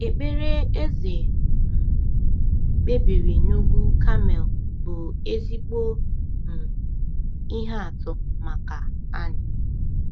Ekpere Eze um kpebiri n’ugwu Kamel bụ ezigbo um ihe atụ maka anyị.